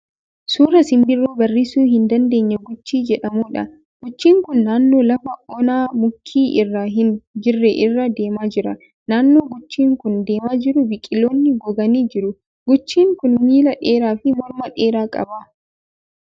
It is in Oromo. Suuraa simbirroo barrisuu hin dandeenye Guchii jedhamuudha. Guchiin kun naannoo lafa onaa muki irra hin jirre irra deemaa jira. Naannoo guchiin kun deemaa jiru biqiloonni goganii jiru. Guchiin kun miilla dheeraa fi morma dheeraa qaba.